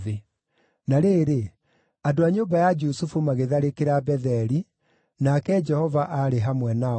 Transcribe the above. Na rĩrĩ, andũ a nyũmba ya Jusufu magĩtharĩkĩra Betheli, nake Jehova aarĩ hamwe nao.